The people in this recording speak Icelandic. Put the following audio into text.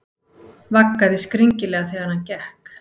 Vaggaði skringilega þegar hann gekk.